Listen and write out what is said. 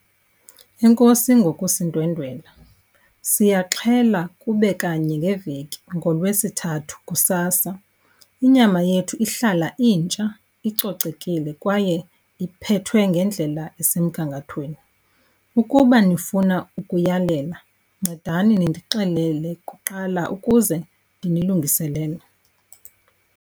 Enkosi ngokusindwendwela. Siyaxhela kube kanye ngeveki, ngoLwesithathu kusasa. Inyama yethu ihlala intsha, icocekile kwaye iphethwe ngendlela esemgangathweni. Ukuba nifuna ukuyalela ncedani nindixelele kuqala ukuze ndinilungiselele.